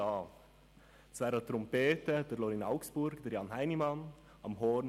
Posaune: Tobias Schweizer, Jan Imhof;